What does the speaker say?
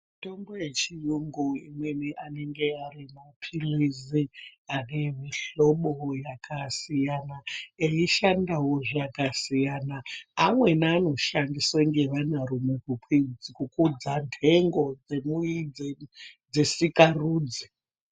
Mitombo yechiyungu imweni anenge arimapirizi ane mihlobo yakasiyana yeishandawo zvakasiyana amweni anoshandiswawo nevanarume kukudza ndengo dzesikarudzi.